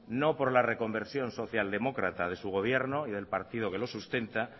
no por la reconversión socialdemócrata de su gobierno y del partido que lo sustenta